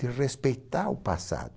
De respeitar o passado.